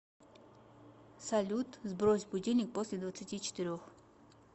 салют сбрось будильник после двадцати четырех